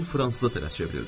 O fransızca tələ çevrildi.